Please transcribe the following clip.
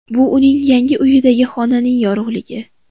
Bu uning yangi uyidagi xonaning yorug‘ligi”.